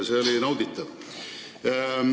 See oli nauditav.